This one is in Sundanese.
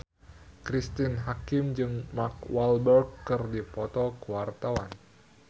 Cristine Hakim jeung Mark Walberg keur dipoto ku wartawan